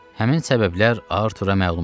Həmin səbəblər Artura məlum idi.